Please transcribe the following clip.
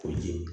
Ko ji